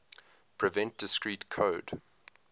prevent discrete code